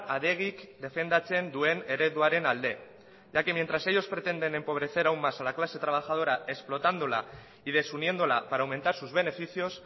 adegik defendatzen duen ereduaren alde ya que mientras ellos pretenden empobrecer aún más a la clase trabajadora explotándola y desuniéndola para aumentar sus beneficios